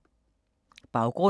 Baggrund